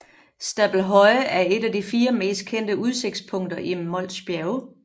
Stabelhøje er et af de fire mest kendte udsigtspunkter i Mols Bjerge